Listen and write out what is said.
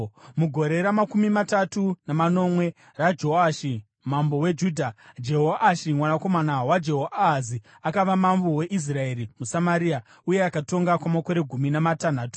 Mugore ramakumi matatu namanomwe raJoashi mambo weJudha, Jehoashi mwanakomana waJehoahazi akava mambo weIsraeri muSamaria, uye akatonga kwamakore gumi namatanhatu.